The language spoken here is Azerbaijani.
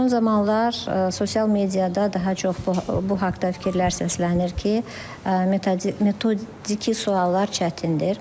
Son zamanlar sosial mediada daha çox bu haqda fikirlər səslənir ki, metodiki suallar çətindir.